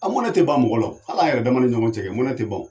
A mɔnɛ te ban mɔgɔ la al'an yɛrɛ dama ni ɲɔgɔn cɛ mɔnɛ te ban o